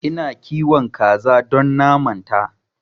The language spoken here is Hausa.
Ina kiwon kaza don naman ta